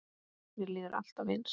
Mér líður alltaf eins.